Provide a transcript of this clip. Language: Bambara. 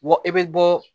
Bɔ i bɛ bɔ